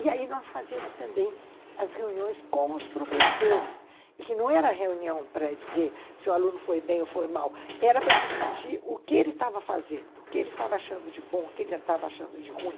E aí nós fazíamos também as reuniões com os professores, e que não era reunião para dizer se o aluno foi bem ou foi mal, era para discutir o que ele estava fazendo, o que ele estava achando de bom, o que ele estava achando de ruim,